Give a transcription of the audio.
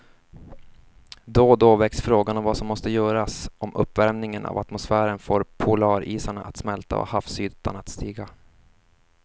Då och då väcks frågan om vad som måste göras om uppvärmingen av atmosfären får polarisarna att smälta och havsytan att stiga.